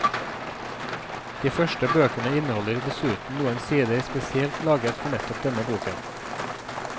De første bøkene inneholder dessuten noen sider spesielt laget for nettopp denne boken.